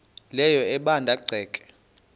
leyo ebanda ceke